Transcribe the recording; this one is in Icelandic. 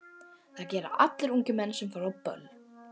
Það gera allir ungir menn sem fara á böll.